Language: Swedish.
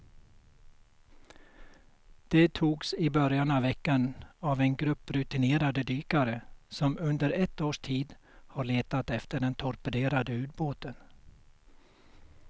De togs i början av veckan av en grupp rutinerade dykare som under ett års tid har letat efter den torpederade ubåten.